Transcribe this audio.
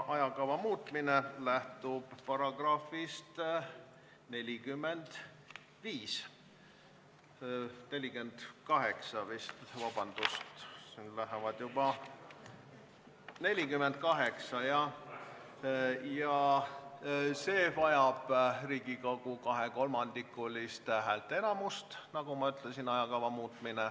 Ajakava muutmine lähtub §-st 45 – vabandust, vist ikka §-st 48, jah – ja selleks läheb vaja Riigikogu kahekolmandikulist häälteenamust, nagu ma ütlesin.